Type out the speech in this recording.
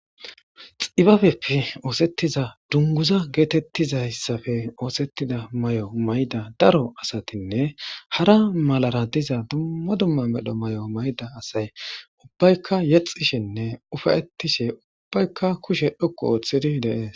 Xibabepfi oosettiza dunguza geetettizayssafe oosettida may'o mayda daro asatinne hara malara diza dumma dumma medho may'o mayda asay ubbaykka yexishenne ufayetishe ubbaykka kushe dhokqu ooththidi deees